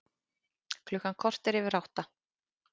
Klukkan korter yfir átta